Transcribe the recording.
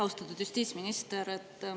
Austatud justiitsminister!